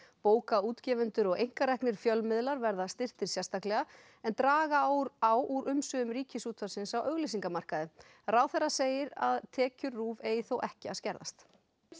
bókaútgefendur og einkareknir fjölmiðlar verða styrktir sérstaklega en draga á úr á úr umsvifum Ríkisútvarpsins á auglýsingamarkaði ráðherra segir að tekjur RÚV eigi þó ekki að skerðast